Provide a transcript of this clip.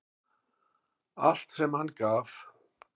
Allt sem hann gaf.